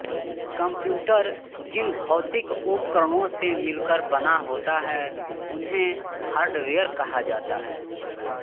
computer जिन भौतिक उपकरणों से मिलकर बना होता है उन्हें हार्डवेयर कहा जाता है